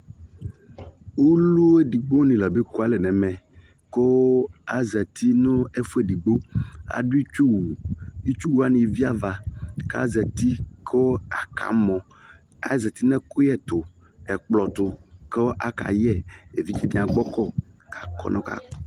ulu edigbo ni la be kualɛ nɛmɛ Ku azati nu ɛfuɛ ɛdigbo adu itchu wu itchu wani eviava k'azati ku aka mɔ azati n'ɛkuyɛ ɛkplɔ tu ku aka yɛ evidze dini nia agbo kɔ k'aka yɛ ɛku